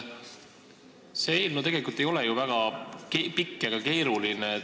See eelnõu tegelikult ei ole ju väga pikk ega keeruline.